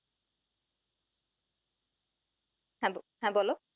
হা হা বল